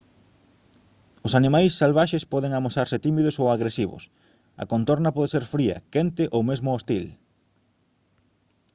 os animais salvaxes poden amosarse tímidos ou agresivos a contorna pode ser fría quente ou mesmo hostil